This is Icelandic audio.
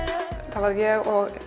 það var ég og